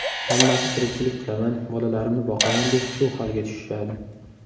Hammasi tirikchilik qilaman, bolalarimni boqaman deb shu holga tushishadi.